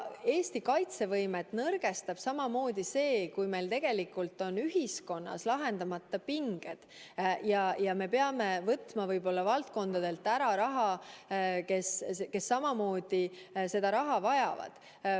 Eesti kaitsevõimet nõrgestab samamoodi see, kui meil on ühiskonnas lahendamata pinged ja me peame võtma raha ära valdkondadelt, mis samamoodi seda raha vajavad.